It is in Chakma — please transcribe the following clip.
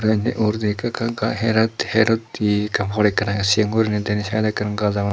the iyen he uguredi ekka ekka her utti ekkan pot ekkan age cigon guriney the indi saidot ekkur gaj agon.